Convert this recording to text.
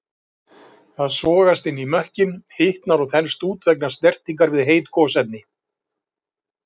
Það sogast inn í mökkinn, hitnar og þenst út vegna snertingar við heit gosefni.